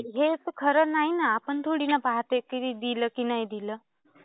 हे खरं तर नाही ना. आपण थोडी ना पाहते की दिलं की नाही दिलं.